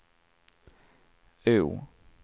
O